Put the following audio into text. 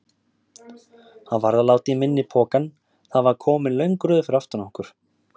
Hann varð að láta í minni pokann, það var komin löng röð fyrir aftan okkur.